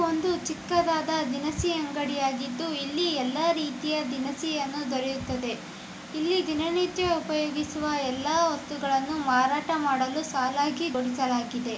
ಒಂದು ಚಿಕ್ಕದಾದ ದಿನಸಿ ಅಂಗಡಿ ಆಗಿದ್ದು ಇಲ್ಲಿ ಯಲ್ಲಾ ರೀತಿಯ ದಿನಸಿಯನ್ನು ದೊರೆಯುತ್ತದೆ. ಇಲ್ಲಿ ದಿನನಿತ್ಯ ಉಪಯೋಗಿಸುವ ಯಲ್ಲಾ ವಸ್ತುಗಳನ್ನ ಮಾರಾಟ ಮಾಡಲು ಸಾಲಾಗಿ ಬದುಸಲಾಗಿದೆ .